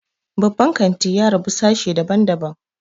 Babban kanti ya rabu sashe dabn daban